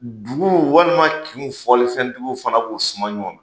Dugu walima kin fɔlifɛntigiw fana b'u suma ɲɔn na.